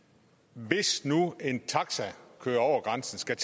hvis nu en taxa kører over grænsen skal